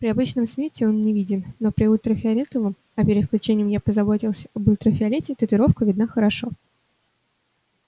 при обычном свете он не виден но при ультрафиолетовом а перед включением я позаботился об ультрафиолете татуировка видна хорошо